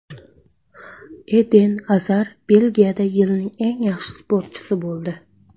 Eden Azar Belgiyada yilning eng yaxshi sportchisi bo‘ldi.